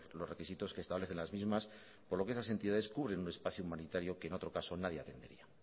los requisitos que establecen las mismas por lo que estas entidades cubren un espacio humanitario que en otro caso nadie atendería